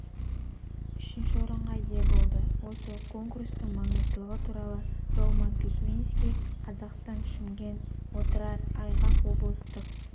үшінші орынға ие болды осы конкурстың маңыздылығы туралы ролман письменский қазахстан шымкент отырар айғақ облыстық